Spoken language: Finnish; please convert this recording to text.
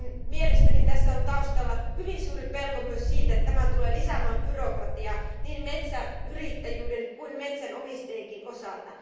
Mielestäni tässä on taustalla hyvin suuri pelko myös siitä, että tämä tulee lisäämään byrokratiaa, niin metsäyrittäjien kuin metsänomistajienkin osalta.